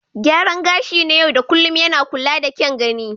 Gyaran gashi na yau da kullun yana kula da kyan gani.